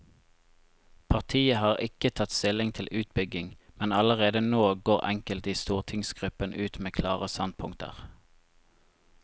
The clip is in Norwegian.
Partiet har ikke tatt stilling til utbygging, men allerede nå går enkelte i stortingsgruppen ut med klare standpunkter.